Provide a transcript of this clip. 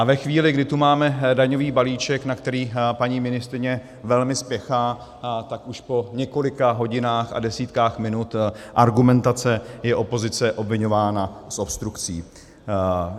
A ve chvíli, kdy tu máme daňový balíček, na který paní ministryně velmi spěchá, tak už po několika hodinách a desítkách minut argumentace je opozice obviňována z obstrukcí.